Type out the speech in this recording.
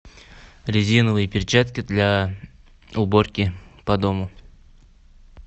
резиновые перчатки для уборки по дому